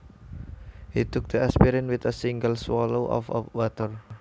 He took the aspirin with a single swallow of water